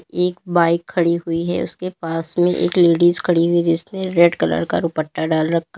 एक बाइक खड़ी हुई है उसके पास में एक लेडिस खड़ी हुई जिसने रेड कलर का दुपट्टा डाल रखा--